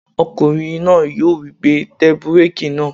Ọkùnrin náà yóò wí pé "tẹ búrèkì náà!"